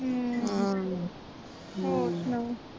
ਹੋਰ ਸਣਾਓ